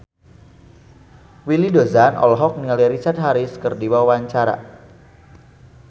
Willy Dozan olohok ningali Richard Harris keur diwawancara